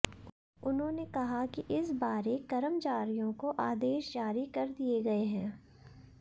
उन्होंने कहा कि इस बारे कर्मचारियों को आदेश जारी कर दिए गए हैं